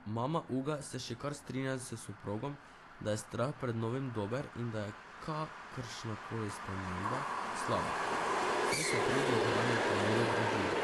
Mama Uga se še kar strinja s soprogom, da je strah pred novim dober in da je kakršna koli sprememba slaba, saj se trudi ohranjati mir v družini.